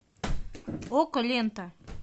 окко лента